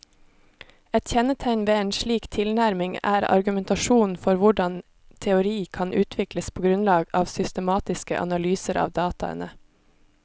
Et kjennetegn ved en slik tilnærming er argumentasjonen for hvordan teori kan utvikles på grunnlag av systematiske analyser av dataene.